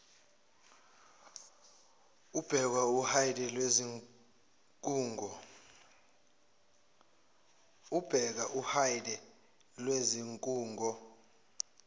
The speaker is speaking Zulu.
ubheka uhide lwezikhungo